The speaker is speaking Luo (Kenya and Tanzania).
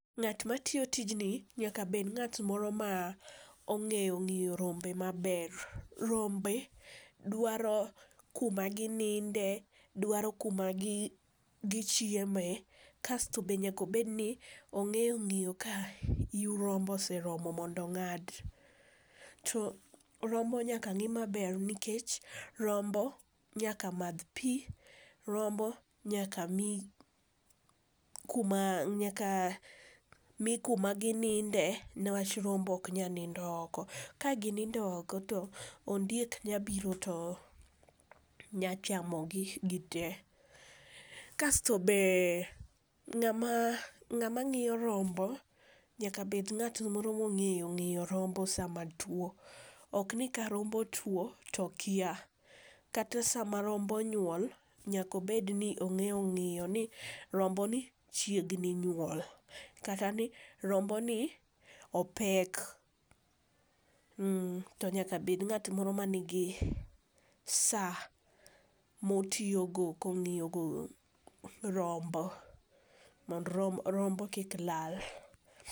Ng'at matiyo tijni nyaka obed ng'at ma ong'eyo ng'iyo rombe maber. Rombe dwaro kuma gininde, dwaro kuma gi gichieme kasto bende nyaka obedni ong'eyo ng'iyo ka yiw rombo oseromo mondo ong'ad. To rombo nyaka ng'i maber nikech rombo nyaka madh pi, rombo nyaka mi nyaka mi kuma gininde niwach rombo ok nyal nindo oko. Ka ginindo oko to ondiek nyalo biro to nyalo chamo gi gite, kasto be ng'ama ng'ama ng'iyo rombo nyaka bed ng'at moro mong'eyo ng'iyo rombo sama tuo, okni ka rombo tuo to okia kata sama rombo nyuol, nyaka obed ni ong'eyo ng'iyo ni rombo ni chiegni nyuol kata ni romboni opek mm to nyaka bed ng'at mro man gi saa motiyogo ka ong'iyogo rombo mondo rombo kik lal.